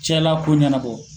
Cɛla ko ɲɛnabɔ.